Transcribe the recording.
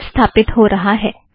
यह अब स्थापित हो रहा है